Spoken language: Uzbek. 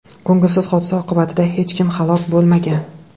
Ko‘ngilsiz hodisa oqibatida hech kim halok bo‘lmagan.